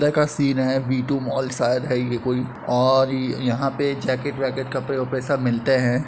अंदर का सीन है। वि टू मॉल शायद है ये कोई और यहां पे जैकेट वैकेट कपड़े-वपड़े सब मिलते हैं।